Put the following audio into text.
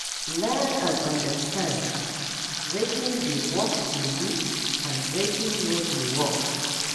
Learn and understand wetin dey work for you and wetin no dey work